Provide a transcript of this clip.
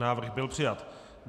Návrh byl přijat.